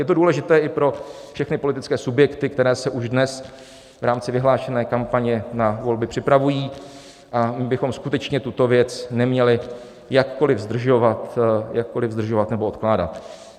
Je to důležité i pro všechny politické subjekty, které se už dnes v rámci vyhlášené kampaně na volby připravují, a my bychom skutečně tuto věc neměli jakkoliv zdržovat nebo odkládat.